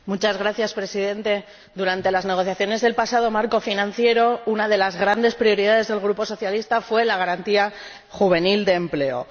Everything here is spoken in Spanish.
Señor Presidente, durante las negociaciones del pasado marco financiero, una de las grandes prioridades del Grupo socialista fue la Garantía Juvenil de empleo.